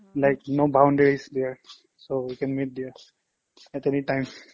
like no boundaries there so we can meet there at anytime